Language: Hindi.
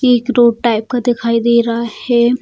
ये एक रोड टाइप का दिखाई दे रहा है।